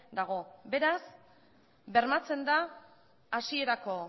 dago beraz bermatzen da hasierako